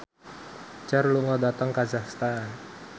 Cher lunga dhateng kazakhstan